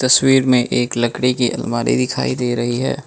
तस्वीर में एक लकड़ी की अलमारी दिखाई दे रही है।